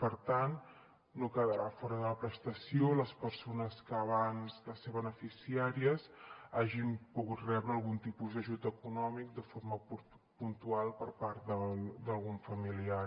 per tant no quedaran fora de la prestació les persones que abans de ser beneficiàries hagin pogut rebre algun tipus d’ajut econòmic de forma puntual per part d’algun familiar